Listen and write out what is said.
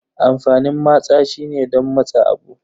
Amfanin matsa shine don matse abu.